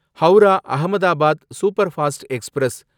Howrah Ahmedabad superfast express